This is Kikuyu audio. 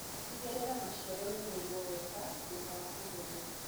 Tigĩrĩra maciaro nĩmaigwo wega thutha wa kũgethwo.